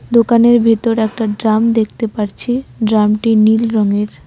দোকানের ভেতর একটা ড্রাম দেখতে পারছি ড্রামটি নীল রঙের।